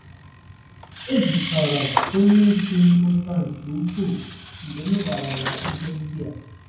Obi tọrọ onye isi m ụtọ nke ukwuu mgbe m gwara ya ihe ndị a.